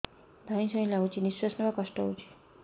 ଧଇଁ ସଇଁ ଲାଗୁଛି ନିଃଶ୍ୱାସ ନବା କଷ୍ଟ ହଉଚି